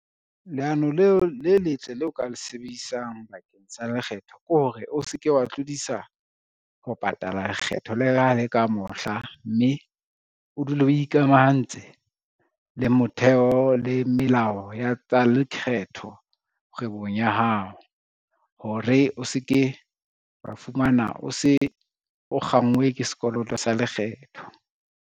Leano le letle lo ka le sebedisang bakeng sa lekgetho ke hore o se ke wa tlodisa ho patala lekgetho le ha e le ka mohla, mme o dule o ikamahantse le motheo le melao ya tsa lekgetho kgwebong ya hao, hore o se ke wa fumana o se o kgangwe ke sekoloto sa lekgetho.